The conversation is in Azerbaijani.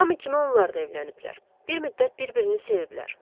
Hamı kimi onlar da evləniblər, bir müddət bir-birini seviblər.